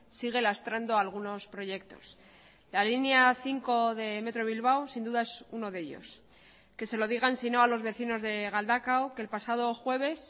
sigue lastrando algunos proyectos la línea cinco de metro bilbao sin duda es uno de ellos que se lo digan sino a los vecinos de galdakao que el pasado jueves